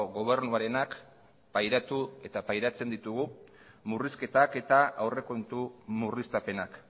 gobernuarenak pairatu eta pairatzen ditugu murrizketak eta aurrekontu murriztapenak